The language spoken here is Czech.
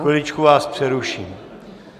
Chviličku vás přeruším.